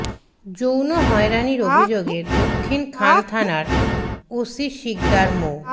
যৌন হয়রানির অভিযোগে দক্ষিণ খান থানার ওসি সিকদার মো